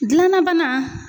Gilanna bana